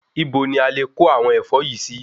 Ibo ni a lè kó àwọn ẹ̀fọ́ yìí sì?